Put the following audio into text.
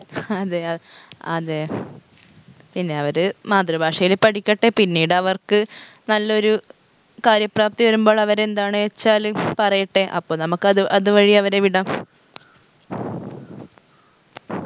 അതെയാ അതെ പിന്നെ അവര് മാതൃഭാഷയില് പഠിക്കട്ടെ പിന്നീടവർക്ക് നല്ലൊരു കാര്യപ്രാപ്തി വരുമ്പള് അവരെന്താണ് വച്ചാൽ പറയട്ടെ അപ്പൊ നമ്മക്ക് അത് അത് വഴി അവരെ വിടാം